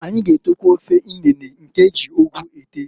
Anyi g'etekwa ofe inene nke eji ugu ete.